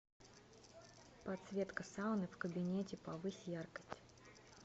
подсветка сауны в кабинете повысь яркость